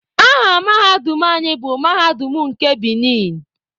Aha mahadum anyị bụ Mahadum nke Binin.